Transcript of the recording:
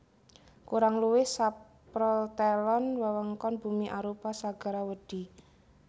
Kurang luwih saprotelon wewengkon bumi arupa segara wedhi